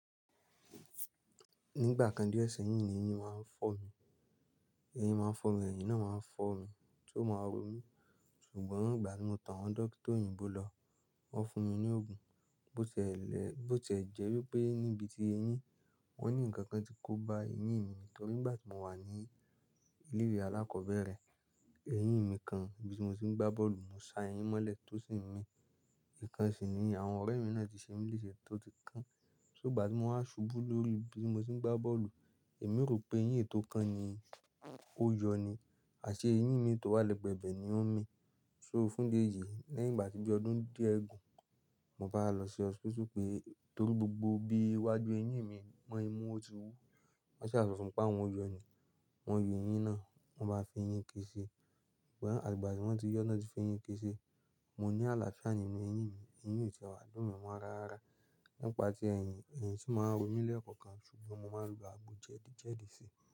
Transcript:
Nígbà kan díẹ̀ sẹ́yìn, ni eyín máa ń fọ́ mi. Eyín máa ń fọ́ mi, eyín náà máa ń fọ́ mi tó máa rọ mí. Ṣùgbọ́n ìgbà tí mo tọ àwọn dókítà òyìnbó lọ, wọ́n fún mi ní òògùn bó tiẹẹ́lẹ̀, bó tiẹ́ jẹ́ wípé níbi tí eyín, wọ́n ní ǹkan kan ti kó ba eyín mi nítorí ngbà tí mo wà ní ilé- ìwé alákọ̀ọ́bẹ̀rẹ̀. Eyín mi kan ni bí tí mo ti n gbá bọ́ọ̀lù mo sa eyín mọ́ lẹ̀ tó sì n mí. Ìkan sì ni àwọn ọ̀rẹ́ mi náà ti ṣe mí lèṣe tó tún kán. Só ìgbà tí mo wá ṣubú lórí bí mo ti ń gbá bọ́ọ̀lù, èmi rò pé eyín è tó kán ni ó yọ ní, àṣé eyín mi i tó wà lẹ́gbẹ̀ẹ́ ibẹ̀ ni ó ń mí. So fún ìdí éyìí, lẹ́yìn ìgbà tí bí ọdún díẹ̀ gun, mo bá lọ sí hospital pé torí gbogbo bí iwájú eyín mi mọ́ imú, ó ti wú. Wọ́n sì a sọ fún pé àwọn ó yọ ni. Wọ́n yọ eyín náà, wọ́n bá n fi eyín iké ṣi. Ṣùgbọ́n àtìgbà tí wọ́n ti yọ tán tí f'eyín ké ṣi. Mo ní àlàáfíà nínú eyín mi, eyín mi ò tí ì wá dùn mí mọ́ raara. Nípa ti ẹyìn, eyín sì máa ń ró mi lẹ́ẹ̀kọ̀kan ṣùgbọ́n mo máa ń lo agbo jẹ̀dí jẹ̀dí sí.